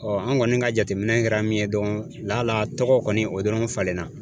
Ɔɔ an kɔni ka jateminɛ kɛra min ye dɔrɔn lala tɔgɔ kɔni o dɔrɔn falenna